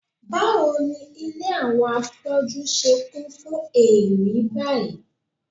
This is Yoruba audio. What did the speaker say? Báwo ni ilé àwọn afọ́jú ṣe kún fún èérí báyìí?